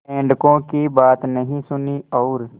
मेंढकों की बात नहीं सुनी और